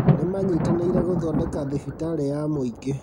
Nĩmanyitanĩire gũthondeka thibitarĩ ya mũingĩ